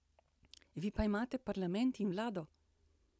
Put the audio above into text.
Vi pa imate parlament in vlado.